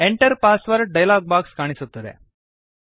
Enter password dialog box ಕಾಣಿಸುತ್ತದೆ